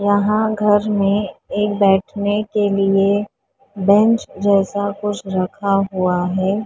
यहां घर में एक बैठने के लिए बेंच जैसा कुछ रखा हुआ है।